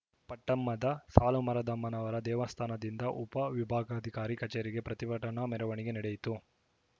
ಪಟ್ಟಮದ ಸಾಲುಮರದಮ್ಮನವರ ದೇವಸ್ಧಾನದಿಂದ ಉಪ ವಿಭಾಗಾಧಿಕಾರಿ ಕಚೇರಿವರೆಗೆ ಪ್ರತಿಭಟನಾ ಮೆರವಣಿಗೆ ನಡೆಯಿತು